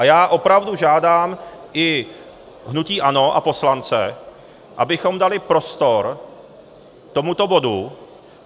A já opravdu žádám i hnutí ANO a poslance, abychom dali prostor tomuto bodu.